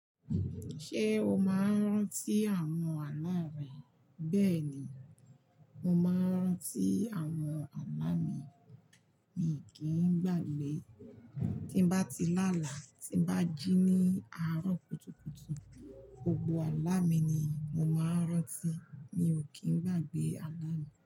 Ṣé o máa ń rántí àwọn àlá rẹ? Bẹ́ẹ̀ ni, mo máa ń rántí àwọn àlá mi. Mi kì í gbàgbé. Tí bá ti láàlá, tí bá jí ní àárọ̀ kùtùkùtù, gbogbo àlá mi ni mo máa ń rántí. Mi ò kì í gbàgbé àlá mi.